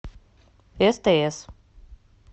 стс